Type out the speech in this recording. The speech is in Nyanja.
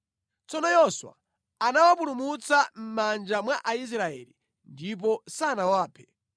Tsono Yoswa anawapulumutsa mʼmanja mwa Aisraeli ndipo sanawaphe.